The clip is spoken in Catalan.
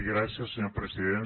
gràcies senyor president